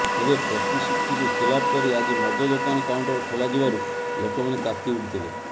ତେବେ ପ୍ରତିଶ୍ରୁତିକୁ ଖିଲାପ କରି ଆଜି ମଦ ଦୋକାନ କାଉଣ୍ଟର ଖୋଲାଯିବାରୁ ଲୋକମାନେ ତାତି ଉଠିଥିଲେ